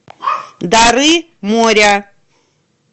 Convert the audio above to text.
дары моря